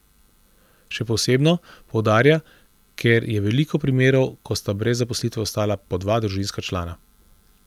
Še posebno, poudarja, ker je veliko primerov, ko sta brez zaposlitve ostala po dva družinska člana.